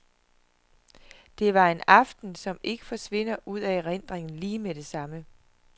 Det var en aften, som ikke forsvinder ud af erindringen lige med det samme.